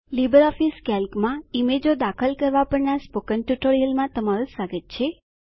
LibreOffice કેલ્કમાં ઈમેજો ચિત્રો દાખલ કરવા પરના સ્પોકન ટ્યુટોરીયલમાં તમારું સ્વાગત છે